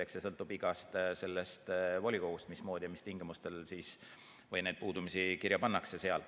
Eks see sõltub igast volikogust, mismoodi ja mis tingimustel neid puudumisi kirja pannakse seal.